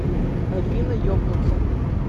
афина ебнуться